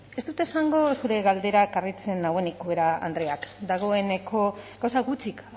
ez dut esango zure galderak harritzen nauenik ubera andrea dagoeneko gauza gutxik